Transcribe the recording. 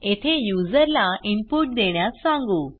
येथे यूझर ला इनपुट देण्यास सांगू